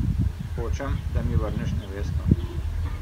Hočem, da mi vrneš nevesto ...